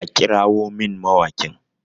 a kirawon min mawaƙin!